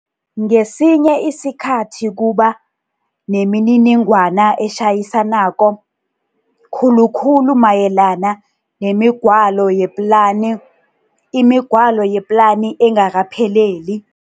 Ngesinye isikhathi kuba nemininingwana etjhayisa nako, khulukhulu mayelana nemigwalo yeplani, imigwalo yeplani engakapheleli.